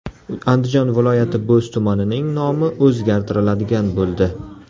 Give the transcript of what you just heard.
Andijon viloyati Bo‘z tumanining nomi o‘zgartiriladigan bo‘ldi .